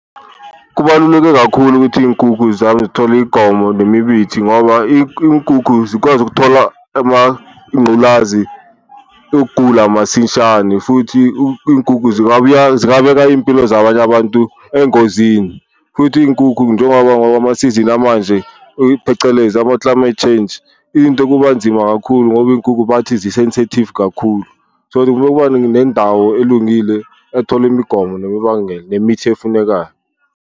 Kubaluleke kakhulu ukuthi iyinkukhu zami zithole imigomo nemibithi ngoba iy'nkukhu zikwazi ukuthola nenculazi yokugula masishane, futhi inkukhu zingabeka iy'mpilo zabanye abantu engozini futhi iy'nkukhu njengoba ngoba amasizini amanje phecelezi ama-climate change. Into kuba nzima kakhulu ngoba inkukhu bathi zi-sensitive kakhulu so, bekubani nendawo elungile, ethole imigomo nemibangela nemithi efunekayo.